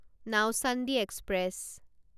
Nauchandi express